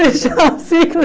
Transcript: Fechar um ciclo.